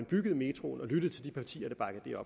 byggede metroen og lyttede til de partier